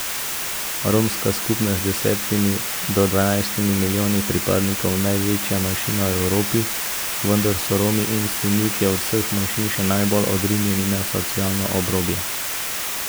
Romska skupnost je z desetimi do dvanajstimi milijoni pripadnikov največja manjšina v Evropi, vendar so Romi in Sinti od vseh manjšin še najbolj odrinjeni na socialno obrobje.